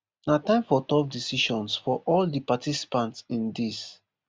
na time for tough decisions for all di participants in dis